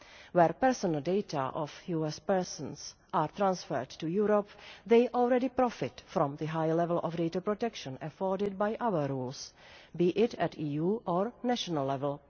Where personal data of US persons are transferred to Europe, they already profit from the high level of data protection afforded by other rules, be it at EU or national level.